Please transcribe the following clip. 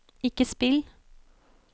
ikke spill